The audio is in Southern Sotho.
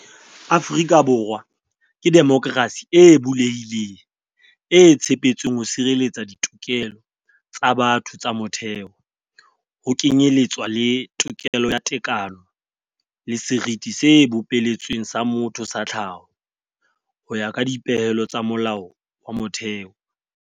"Afrika Borwa ke demokrasi e bulehileng, e tshepetsweng ho sireletsa ditokelo tsa batho tsa motheo, ho kenyeletswa le tokelo ya tekano le seriti se bopeletsweng sa motho sa tlhaho, ho ya ka dipehelo tsa Molao wa Motheo."